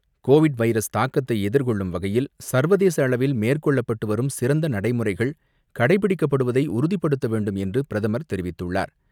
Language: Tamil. கோவிட் வைரஸ் தாக்கத்தை எதிர்கொள்ளும் வகையில் சர்வதேச அளவில் மேற்கொள்ளப்பட்டு வரும் சிறந்த நடைமுறைகள் கடைப்பிடிக்கப் படுவதை உறுதிப்படுத்த வேண்டும் என்று பிரதமர் தெரிவித்துள்ளார்.